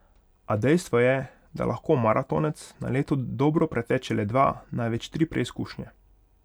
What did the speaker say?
A dejstvo je, da lahko maratonec na leto dobro preteče le dva, največ tri preizkušnje.